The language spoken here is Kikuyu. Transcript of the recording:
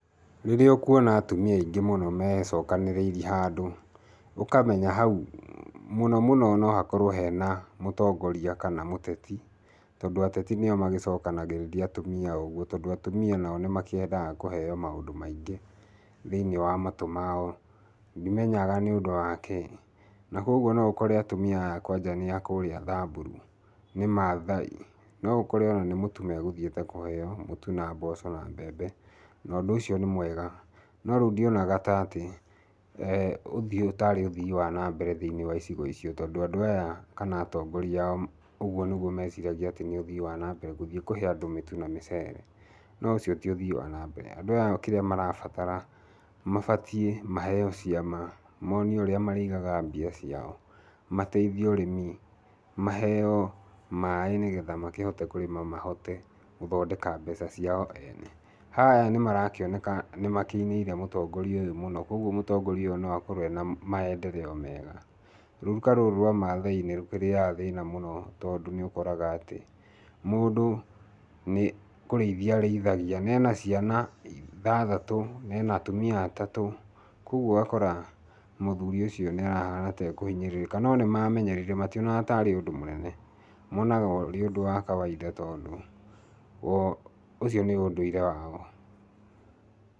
Rĩrĩa ũkuona atumia aingĩ mecokanĩrĩirie handũ, Ũkamenya hau mũno mũno no hakorwo hena mũtongoria kana mũteti. Tondũ ateti nĩo magĩcokanagĩrĩria atumia ũguo tondũ atumia nao nĩmakiendaga kũheo maũndũ maingĩ thĩiniĩ wa matũ mao, ndimenyaga nĩ ũndũ wa kĩĩ. Na kũoguo no ũkore atumia aya kwaja nĩ a kũrĩa Thaburu, nĩ maathai, no ũkore ona nĩ mũtu megũthiĩte kũheo, mũtu na mboco na mbembe, na ũndũ ũcio nĩ mwega. No rĩu ndionaga ta atĩ ũthii ũyũ taarĩ ũthii wa na mbere thĩiniĩ wa icigo icio tondũ andũ aya kana atongoria aao ũguo niguo meciragia ni uthii wa na mbere gthiĩ kũhe andũ mĩtu na mĩcere. No ũcio ti uthii wa na mbere. Andũ aya kĩrĩa marabatara, mabatie maheo ciama, monio ũrĩa marĩigaga mbia ciao. Mateithio ũrĩmi, maheo maaĩ nĩ getha makĩhote kũrĩma mahote gũthondeka mbeca ciao ene. Aya nĩ marakĩoneka nĩ makĩineire mũtongoria ũyũ mũno kũoguo mũtongoria ũyũ no akorwo ena maendereo mega. Rũruka rũrũ rwa maathai nĩ rũkĩrĩaga thĩna mũno tondũ nĩũkoraga atĩ, mũndũ nĩ kũrĩithia arĩithagia na ena ciana ithathatũ na ena atumia atatũ, kũoguo ũgakora mũthuri ũcio nĩarahana ta ĩkũhinyĩrĩka. No nĩmamenyerire mationaga taarĩ ũndũ mũnene. Monaga ũrĩ ũndũ wa kawainda tondũ o ũcio nĩ ũndũire wao.